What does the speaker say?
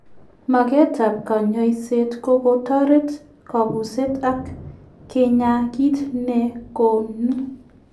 Makeet ap kanyaiseet ko kotoret kabuseet ak kinyaa kiit negonuu